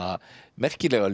merkilega